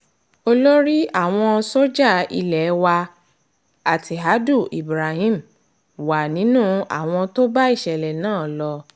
olórí àwọn sójà ilé wa attihadu ibrahim wà nínú àwọn tó bá ìṣẹ̀lẹ̀ náà lọ